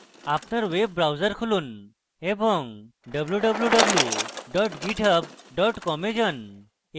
আপনার web browser খুলুন এবং www github com এ যান